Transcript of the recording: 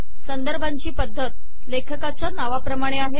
संदर्भांची पद्धत लेखकाच्या नावाप्रमाणे आहे